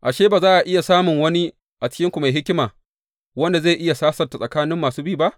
Ashe, ba za a iya samun wani a cikinku mai hikima wanda zai iya sasanta tsakanin masu bi ba?